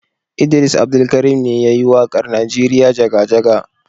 Idris Abdulkarim ne ya yi waƙar Najeriya jaga-jaga.